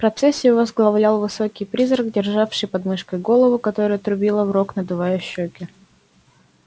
процессию возглавлял высокий призрак державший под мышкой голову которая трубила в рог надувая щеки